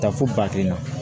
Taa fo ba kelen na